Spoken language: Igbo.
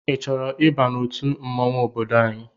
I chọrọ ịba n'otu mmanwụ ọbọdọ anyị?